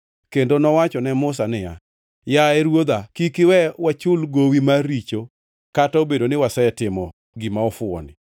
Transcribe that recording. kendo nowacho ne Musa niya, “Yaye, ruodha, kik iwe wachul gowi mar richo kata obedo ni wasetimo gima ofuwoni.